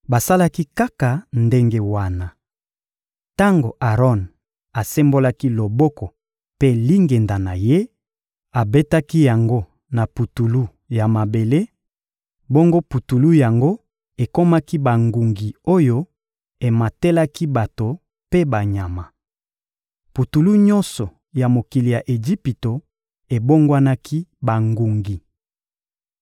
Basalaki kaka ndenge wana. Tango Aron asembolaki loboko mpe lingenda na ye, abetaki yango na putulu ya mabele; bongo putulu yango ekomaki bangungi oyo ematelaki bato mpe banyama. Putulu nyonso ya mokili ya Ejipito ebongwanaki bangungi.